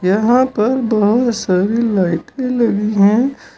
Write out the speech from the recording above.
यहां पर बहुत सारी लाइटे लगी है।